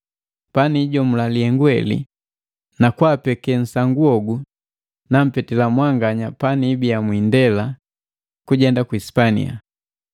Paniijomula lihengu heli na kwaapeke nsangu hogu nampetila mwanganya panibia mwiindela kujenda ku Sipania.